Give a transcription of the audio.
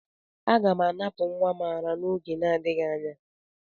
Aga m anapụ nwa m ara n'oge n'adịghị anya.